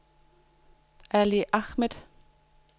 Ali Ahmed